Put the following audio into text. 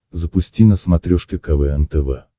запусти на смотрешке квн тв